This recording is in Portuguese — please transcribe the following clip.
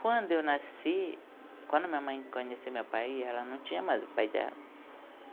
Quando eu nasci, quando minha mãe conheceu meu pai, ela não tinha mais o pai dela.